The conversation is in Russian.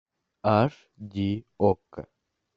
аш ди окко